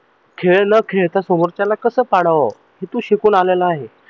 खेळ न करता समोरच्याला कस पाडाव हे तू शिकून आलेला आहे.